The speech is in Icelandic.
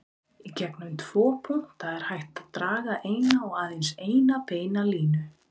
Í gegnum tvo punkta er hægt að draga eina og aðeins eina beina línu.